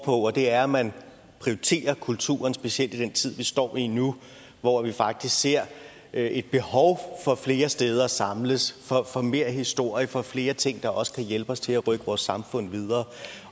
og det er at man prioriterer kulturen specielt i den tid vi står i nu hvor vi faktisk ser et behov for flere steder at samles for mere historie for flere ting der også kan hjælpe os til at rykke vores samfund videre